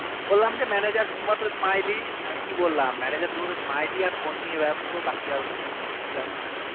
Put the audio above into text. বললাম যে manager শুধু silantly আর phone নিয়ে ব্যস্ত বাকি আর উনি আর কিছু জানে না